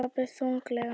sagði pabbi þunglega.